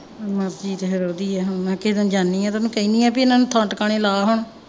ਮਰਜ਼ੀ ਤੇ ਫੇਰ ਓਹਦੀ ਹੈ ਹੁਣ ਮੈਂ ਕਿਸੇ ਦਿਨ ਜਾਂਦੀ ਆ ਤੇ ਓਹਨੂੰ ਕਹਿੰਦੀ ਆ ਵੀ ਇਹਨਾਂ ਨੂੰ ਥਾਂ ਟਿਕਾਣੇ ਲਾ ਹਾਂ।